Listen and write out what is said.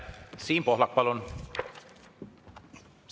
Siim Pohlak, palun!